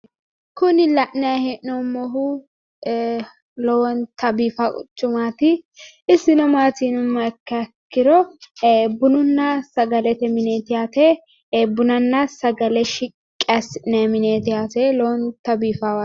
Kuni la'naayi he'noommohu lowonta biifa quchumaati. Isino maati yinummaha ikkiha ikkiro, bununna sagalete mineeti yaate. bunanna sagale shiqqi assi'nayiwaati yaate.